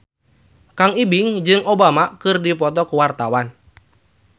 Kang Ibing jeung Obama keur dipoto ku wartawan